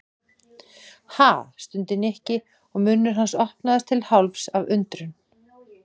Ha? stundi Nikki og munnur hans opnaðist til hálfs af undrun.